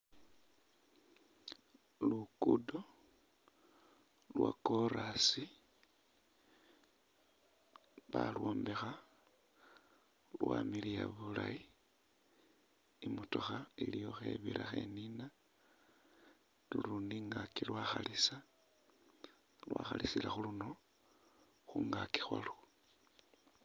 Luguudo lwa korasi balyombekha lwamiliya bulaayi, i'motokha iliwo khebira khenina lulundi ingaaki lwakhalisa lwakhalisila khuluno khungaaki khwalwo